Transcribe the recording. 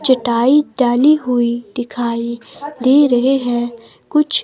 चटाई डाली हुई दिखाई दे रहे हैं कुछ--